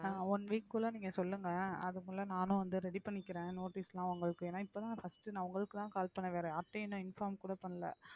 ஆஹ் one week குள்ள நீங்க சொல்லுங்க அதுக்குள்ள நானும் வந்து ready பண்ணிக்கிறேன் notice லாம் உங்களுக்கு ஏன்னா இப்பதான் first நான் உங்களுக்குதான் call பண்ண வர்றேன் அப்படியே நான் inform கூட பண்ணலை